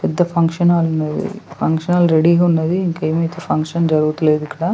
పెద్ద function hall ఉన్నది function hall రెడీగా ఉన్నది ఇంకేమీ అయితే ఫంక్షన్ జరుగుతలేదు ఇక్కడ.